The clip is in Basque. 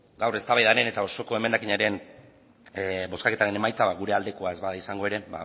gaur eztabaidaren era osoko emendakinaren bozketaren emaitza gure aldekoa ez bada izango ere